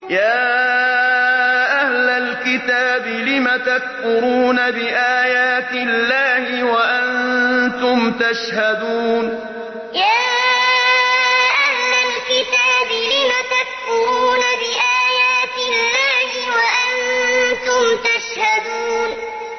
يَا أَهْلَ الْكِتَابِ لِمَ تَكْفُرُونَ بِآيَاتِ اللَّهِ وَأَنتُمْ تَشْهَدُونَ يَا أَهْلَ الْكِتَابِ لِمَ تَكْفُرُونَ بِآيَاتِ اللَّهِ وَأَنتُمْ تَشْهَدُونَ